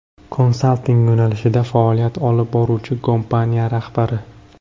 Konsalting yo‘nalishida faoliyat olib boruvchi kompaniya rahbari.